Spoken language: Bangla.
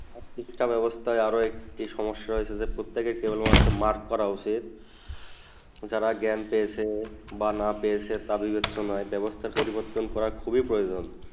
শিক্ষা বেবস্তা আরও একটা সমস্যা হয়েছে প্রত্যেক তা একটা মার্ক্স্ করা উচিত যারা জ্ঞান পেচে বা না পেচে ওই প্রচ্ছনা বেবস্তা পরিবর্তন করা খুবই প্ৰয়োজন